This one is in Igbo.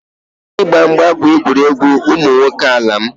Ịgba mgba bụ egwuregwu ụmụ nwoke n'ala m